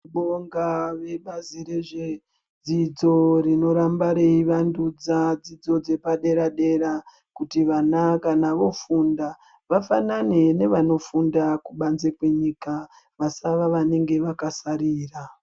Tinobonga vezvebazi redzidzo rinoramba reivandudza dzidzo dzepadera-dera ,kuti vana kana voofunda, vafanane nevanofunda kubanze kwenyika. Vasava vanenge vakasarira.